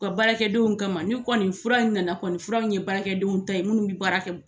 U ka baarakɛdenw kama, n'o kɔni fura in nana kɔni, fura ye baarakɛdenw ta ye minnu bɛ baara kɛ.